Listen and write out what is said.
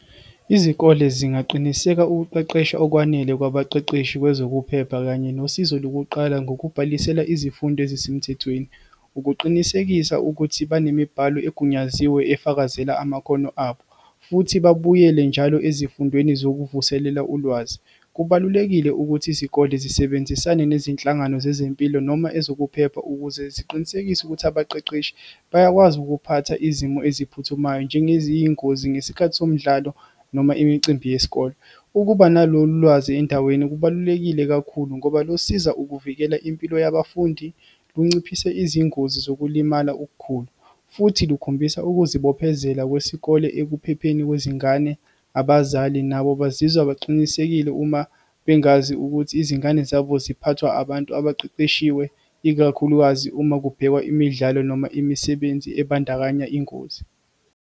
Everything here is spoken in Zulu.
Izikole zingaqiniseka ukuqeqesha okwanele kwabaqeqeshi kwezokuphepha, kanye nosizo lokuqala, ngokubhalisela izifundo ezisemthethweni, ukuqinisekisa ukuthi banemibhalo egunyaziwe, efakazela amakhono abo, futhi babuyele njalo ezifundweni zokuvuselela ulwazi. Kubalulekile ukuthi izikole zisebenzisane nezinhlangano zezempilo, noma ezokuphepha ukuze ziqinisekise ukuthi abaqeqeshi bayakwazi ukuphatha izimo eziphuthumayo, njengeziyingozi ngesikhathi somdlalo, noma imicimbi yesikole. Ukuba nalolu lwazi endaweni, kubalulekile kakhulu ngoba losiza ukuvikela impilo yabafundi, lunciphise izingozi zokulimala okukhulu, futhi lukhombisa ukuzibophezela kwesikole ekuphepheni kwezingane. Abazali nabo bazizwa baqinisekile uma bengazi ukuthi izingane zabo ziphathwa abantu abaqeqeshiwe, ikakhulukazi uma kubhekwa imidlalo, noma imisebenzi ebandakanya ingozi.